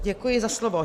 Děkuji za slovo.